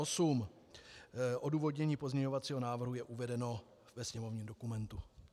Odůvodnění pozměňovacího návrhu je uvedeno ve sněmovním dokumentu.